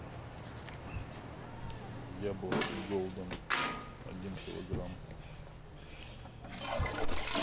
яблоки голден один килограмм